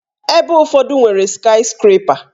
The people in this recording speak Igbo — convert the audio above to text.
Ebe ụfọdụ nwere skayiskrepa